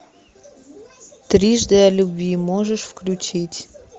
трижды о любви можешь включить